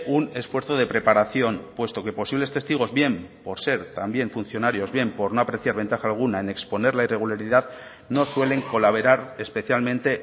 un esfuerzo de preparación puesto que posibles testigos bien por ser también funcionarios bien por no apreciar ventaja alguna en exponer la irregularidad no suelen colaborar especialmente